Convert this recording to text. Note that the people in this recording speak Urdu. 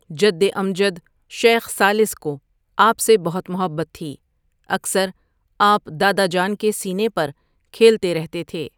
جدامجد شیخ ثالث کو آپ سے بہت محبت تھی اکثر آپ دادا جان کے سینے پر کھیلتے رہتے تھے ۔